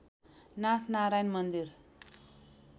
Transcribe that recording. नाथ नारायण मन्दिर